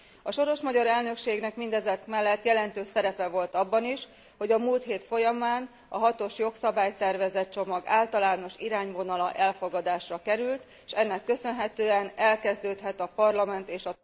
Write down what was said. A soros magyar elnökségnek mindezek mellett jelentős szerepe volt abban is, hogy a múlt hét folyamán a hatos jogszabálytervezet csomag általános irányvonala elfogadásra került, s ennek köszönhetően elkezdődhet a Parlament és